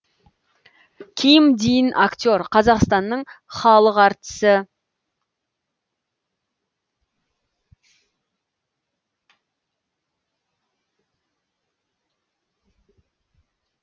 ким дин актер қазақстанның халық әртісі